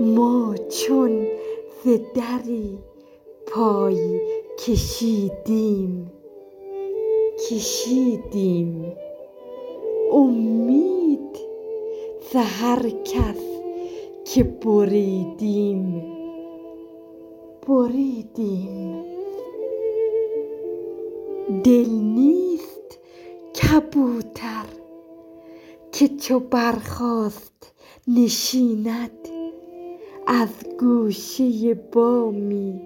ما چون ز دری پای کشیدیم کشیدیم امید ز هر کس که بریدیم بریدیم دل نیست کبوتر که چو برخاست نشیند از گوشه بامی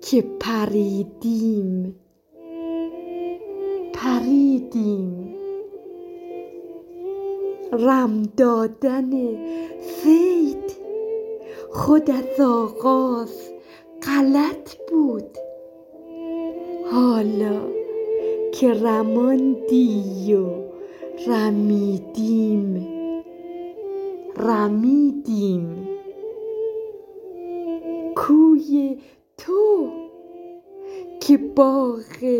که پریدیم پریدیم رم دادن صید خود از آغاز غلط بود حالا که رماندی و رمیدیم رمیدیم کوی تو که باغ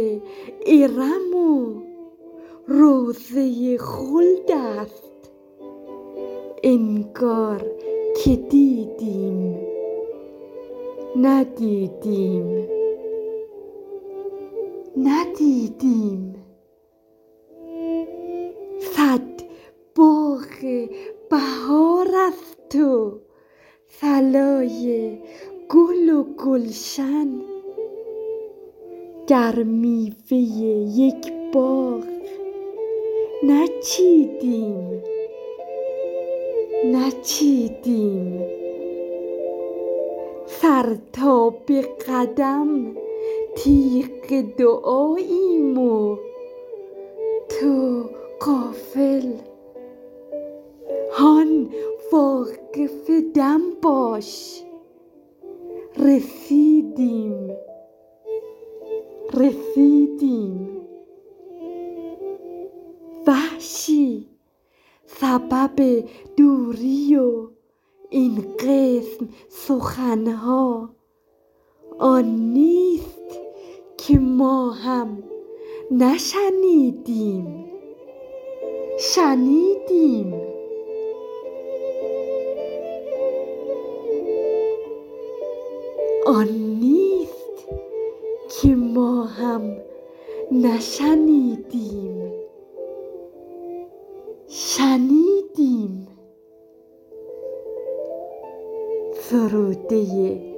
ارم روضه خلد است انگار که دیدیم ندیدیم ندیدیم صد باغ بهار است و صلای گل و گلشن گر میوه یک باغ نچیدیم نچیدیم سر تا به قدم تیغ دعاییم و تو غافل هان واقف دم باش رسیدیم رسیدیم وحشی سبب دوری و این قسم سخن ها آن نیست که ما هم نشنیدیم شنیدیم